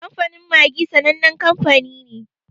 Kamfanin Maggi sanannen kanfani ne.